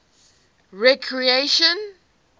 recreation